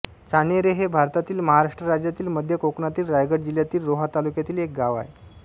चाणेरे हे भारतातील महाराष्ट्र राज्यातील मध्य कोकणातील रायगड जिल्ह्यातील रोहा तालुक्यातील एक गाव आहे